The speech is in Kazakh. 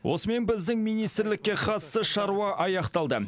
осымен біздің министрлікке қатысты шаруа аяқталды